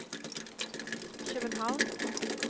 København